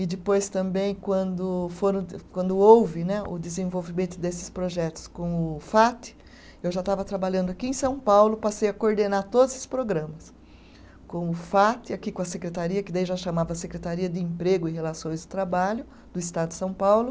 E depois também, quando foram de, quando houve né, o desenvolvimento desses projetos com o Fat, eu já estava trabalhando aqui em São Paulo, passei a coordenar todos esses programas. Com o Fat, aqui com a Secretaria, que daí já chamava Secretaria de Emprego e Relações de Trabalho do Estado de São Paulo,